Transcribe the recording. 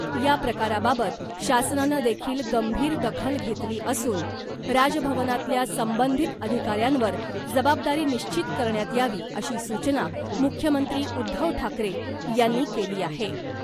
या प्रकाराबाबत शासनानं देखील गंभीर दखल घेतली असून , राजभवनातल्या संबंधित अधिकाऱ्यांवर जबाबदारी निश्चित करण्यात यावी अशी सूचना , मुख्यमंत्री उद्धव ठाकरे यांनी केली आहे .